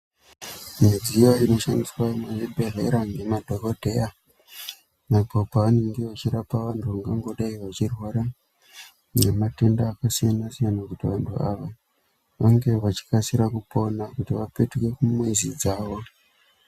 Midziyo inoshandiswa muzvibhedhlera ngemadhogodheya apo pavanenge vachirapa vantu vangangodai vachirwara ngematenda akasiyana siyana kuti vantu ava vange vachikasira kupona kuti vapetuke kumizi dzawo.